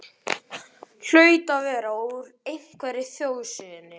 Hlaut að vera úr einhverri þjóðsögunni.